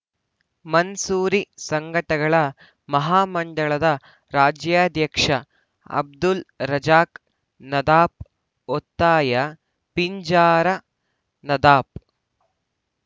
ಮನ್ಸೂರಿ ಸಂಘಗಳ ಮಹಾ ಮಂಡಳದ ರಾಜ್ಯಾಧ್ಯಕ್ಷ ಅಬ್ದುಲ್‌ ರಜಾಕ್‌ ನದಾಫ್‌ ಒತ್ತಾಯ ಪಿಂಜಾರ ನದಾಫ್‌